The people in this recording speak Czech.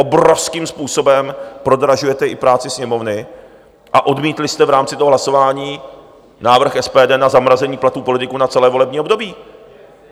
Obrovským způsobem prodražujete i práci Sněmovny a odmítli jste i v rámci toho hlasování návrh SPD na zamrazení platů politiků na celé volební období.